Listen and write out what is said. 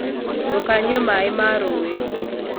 Ndūkanyue maī ma rūī.